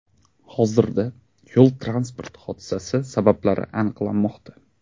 Hozirda yo‘l-transport hodisasi sabablari aniqlanmoqda.